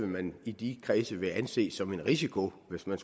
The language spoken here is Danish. man i de kredse vil anse som en risiko hvis man